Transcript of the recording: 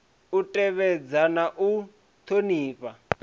u tevhedza na u thonifha